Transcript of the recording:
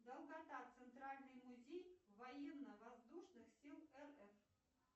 долгота центральный музей военно воздушных сил рф